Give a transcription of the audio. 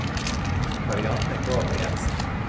Karianne Gabrielsen